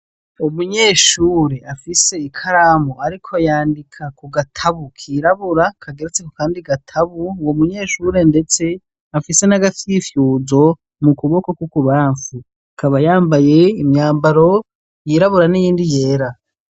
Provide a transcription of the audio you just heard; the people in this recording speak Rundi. Umunyeshure afise ikaramu ariko yandika kugatabu kirabura kageretse kukandi gatabu uwo munyeshure ndetse afise nagafyifyuzo mu kuboko kukubamfu akaba yambaye imyambaro yirabura n'iyindi yera.